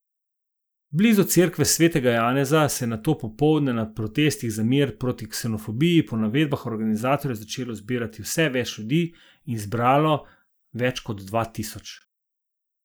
Blizu cerkve Svetega Janeza se je nato popoldne na protestih za mir in proti ksenofobiji po navedbah organizatorjev začelo zbirati vse več ljudi in zbralo več kot dva tisoč.